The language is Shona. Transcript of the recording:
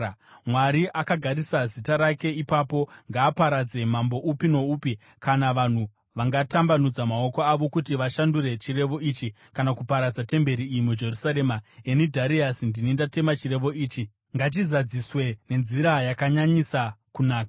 Mwari, akagarisa Zita rake ipapo, ngaaparadze mambo upi noupi kana vanhu vangatambanudza maoko avo kuti vashandure chirevo ichi kana kuparadza temberi iyi muJerusarema. Ini Dhariasi ndini ndatema chirevo ichi. Ngachizadziswe nenzira yakanyanyisa kunaka.